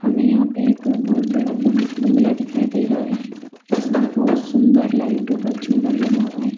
हमें यहां पे एक बहुत बड़ा बंगला दिखाई दे रहा है जिसमें बहुत सुंदर लाइटों का झूमर लगा हुआ है।